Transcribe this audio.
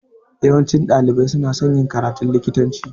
Yawancin ɗalibai suna son yin karatun likitanci